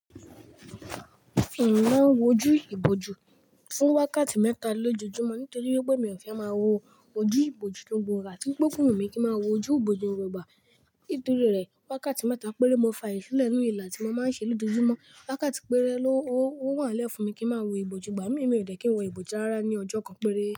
Èmi máa ń wojú ìbòjú fún wákàtí mẹ́ta lójoojúmọ́ nítorí pé mi ò fẹ́ máa wo ojú ìbòjú ló gbòòrò, àti wípé fóònù mi ò ń ki won ojú bòòjú ní gbogbo ìgbà, ìtorí rẹ̀ wákàtí mẹ́ta péré mo fi àyè sílẹ̀ lórí ìlà a tí mo ń máa ṣe lójojúmọ́, wákàtí péré ló wà nle fún mi kí ń máa wojú ìbòjú gbà mí, mi ò dẹ̀ kí ń wo ìbòjú rárá ní ọjọ́ kan péré.